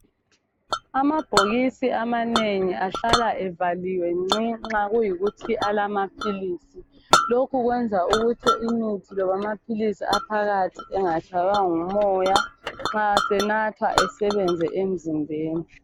Amabhokisi amanengi ahlala evaliwe ngcii nxa kuyikuthi alamapills lokhu kwenza ukuthi umuthi loba amapills aphakathi engatshaywa ngumoya nxa senatha engena emzimbeni